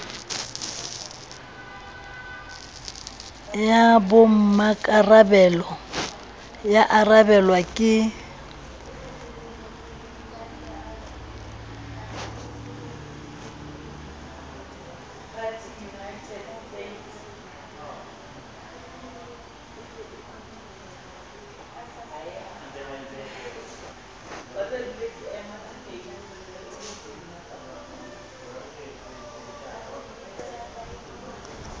ya bommakarabelo ya arabelwa ke